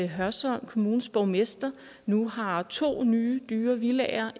hørsholm kommunes borgmester nu har to nye dyre villaer